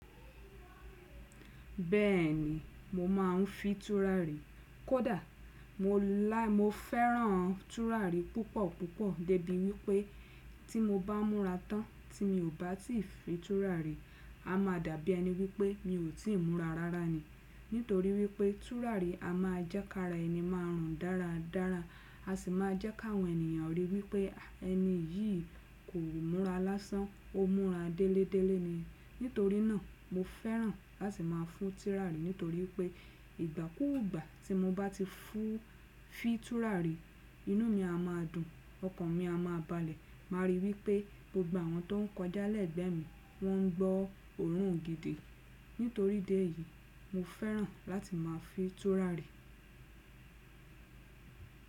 Bẹ́ẹ̀ni, mo máà ń fi tùràrí kọ dà mo la Mo fẹ́ràn tùràrí púpọ̀púpọ̀ débi wípẹ́ tí mo bá múra tán tí mi ò bá ti fi tùràrí, a máa dàbí ẹni wípẹ́ mi ò tí ì múra rárá ni. Nítorí wípẹ́ tùràrí a máa jẹ́ ká ra ẹni márùn ún dáradára, a sì máa jẹ́ ká àwọn ènìyàn rí wípẹ́ ẹni yìí kò múra lásán, ó múra délédélé ni. Nítorí náà, mo fẹ́ràn láti máa fún tùràrí nítorí pé ìgbà kúùgbà tí mo bá ti fún fi tùràrí, inú mi a máa dùn, ọkàn mi a máa balẹ̀, màa rí i wípẹ́ mo gba àwọn tó ń kọjá lẹ́gbẹ̀ẹ́ mi, wọ́n ń gbọ́ òórùn gidi. Nítorí idé yìí, mo fẹ́ràn láti máa fi tùràrí.